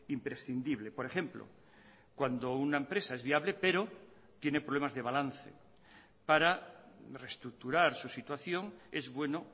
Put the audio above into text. imprescindible por ejemplo cuando una empresa es viable pero tiene problemas de balance para reestructurar su situación es bueno